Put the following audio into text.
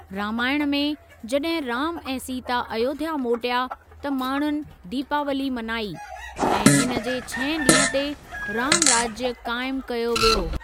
रामायण में, जॾहिं राम ऐं सीता अयोध्‍या मोटिया, त माण्‍हुनि दीपावली मनाई, ऐं हिन जे छहें ॾींह ते, रामराज्‍य क़ाइम कयो वयो।